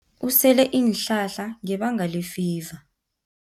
Usele iinhlahla ngebanga lefiva.